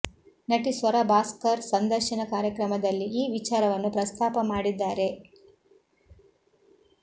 ನಟಿ ಸ್ವರ ಭಾಸ್ಕರ್ ಸಂದರ್ಶನ ಕಾರ್ಯಕ್ರಮದಲ್ಲಿ ಈ ವಿಚಾರವನ್ನು ಪ್ರಸ್ತಾಪ ಮಾಡಿದ್ದಾರೆ